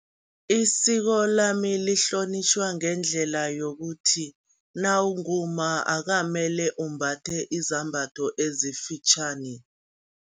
Isiko lami lihlonitjhwa ngendlela yokuthi, nawungumma akamele umbatha izambhatho ezifitjhani.